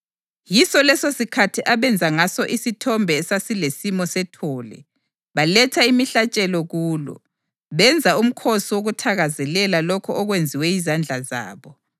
Yiso lesosikhathi abenza ngaso isithombe esasilesimo sethole. Baletha imihlatshelo kulo, benza umkhosi wokuthakazelela lokho okwenziwa yizandla zabo.